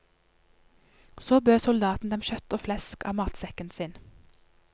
Så bød soldaten dem kjøtt og flesk av matsekken sin.